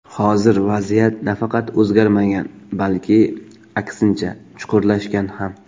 Hozir vaziyat nafaqat o‘zgarmagan, balki, aksincha, chuqurlashgan ham.